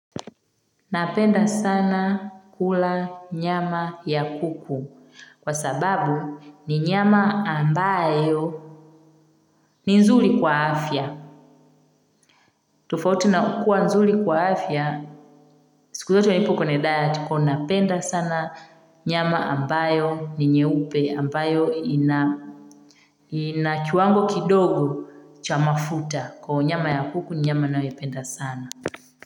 Napenda sana kula nyama ya kuku kwa sababu ni nyama ambayo ni nzuri kwa afya tofauti na kukua nzuri kwa afya siku zote ilipo kuna diet napenda sana nyama ambayo ni nyeupe ambayo ina kiwango kidogo cha mafuta kwa hivyo nyama ya kuku ni nyama ninayoipenda sana.